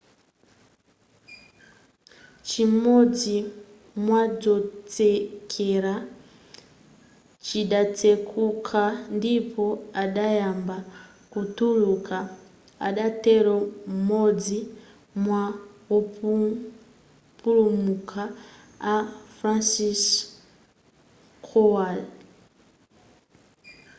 chimodzi mwadzotsekera chidatsekuka ndipo adayamba kutuluka adatero m'modzi mwa wopulumuka a franciszek kowal